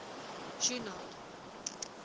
junod